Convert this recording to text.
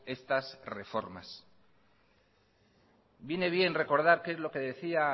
estas reformas viene bien recordar qué es lo que decía